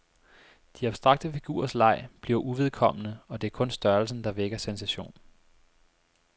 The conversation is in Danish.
De abstrakte figurers leg bliver uvedkommende, og det er kun størrelsen der vækker sensation.